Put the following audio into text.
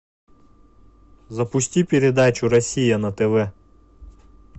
запусти передачу россия на тв